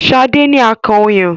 Sade ní akàn ọyàn